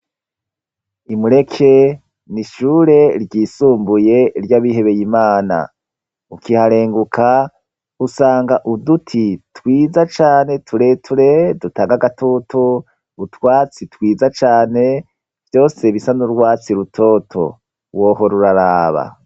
I Mureke ni ishure ry'isumbuye ry'abihebeye imana ukiharenguka usanga uduti twiza cyane tureture dutanga gatoto utwatsi twiza cane byose bisan'urwatsi rutoto, wohora uraraba.